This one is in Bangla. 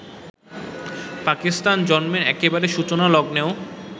পাকিস্তানের জন্মের একেবারে সূচনালগ্নেও